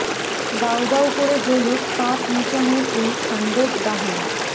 দাউ দাউ করে জ্বলুক পাপ মোচনের এই খান্ডব দাহন